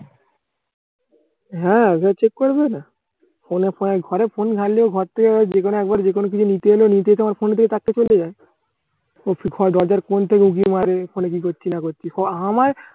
হা check করবে না ঘরে phone ঘাটলেই ঘর থেকে যেকোন কিছু নিতে এলে নিতে এসে আমার phone এর দিকে তাকিয়ে চলে যায়। phone দরজার কোন থেকে উঁকি মারে phone এ কি করছি না করছি পরে আমার